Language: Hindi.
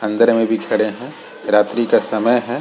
अंदर में भी खड़े हैं रात्रि का समय हैं।